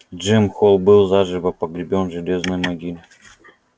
джим холл был заживо погребён в железной могиле